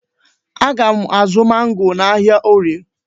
Aga m azụ mangoo n'ahịa Orie.